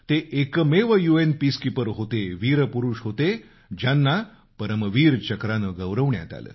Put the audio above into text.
ते एकमेव U N peacekeeper होते वीर पुरुष होते ज्यांना परमवीर चक्रानं गौरवण्यात आलं